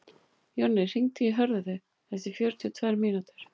Jonni, hringdu í Hörðu eftir fjörutíu og tvær mínútur.